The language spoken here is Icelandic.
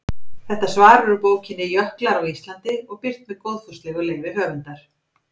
Þetta svar er úr bókinni Jöklar á Íslandi og birt með góðfúslegu leyfi höfundar.